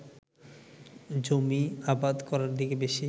জমি আবাদ করার দিকে বেশি